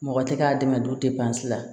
Mɔgɔ tɛ k'a dɛmɛ duba si la